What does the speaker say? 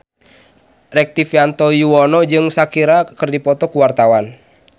Rektivianto Yoewono jeung Shakira keur dipoto ku wartawan